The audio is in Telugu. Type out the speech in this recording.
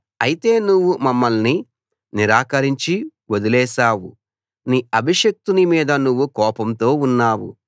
అయితే నువ్వు మమ్మల్ని నిరాకరించి వదిలేశావు నీ అభిషిక్తుని మీద నువ్వు కోపంతో ఉన్నావు